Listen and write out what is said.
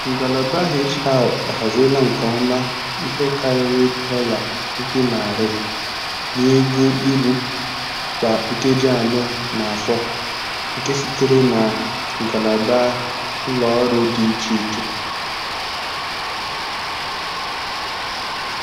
Ngalaba HR ahaziela nke ọma ihe karịrị dọla puku narị na-ego uru kwa nkeji anọ n'afọ nke sitere na ngalaba ụlọ ọrụ dị iche iche.